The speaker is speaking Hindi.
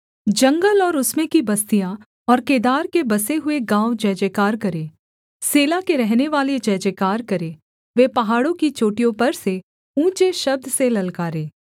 जंगल और उसमें की बस्तियाँ और केदार के बसे हुए गाँव जयजयकार करें सेला के रहनेवाले जयजयकार करें वे पहाड़ों की चोटियों पर से ऊँचे शब्द से ललकारें